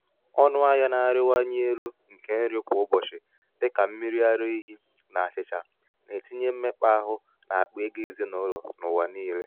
ọnụahịa na-arịwanye elu nke nri kwa um ụbọchị dị ka mmiri ara ehi na achịcha na-etinye mmekpa áhù n’akpa ego ezinụlọ n’ụwa niile.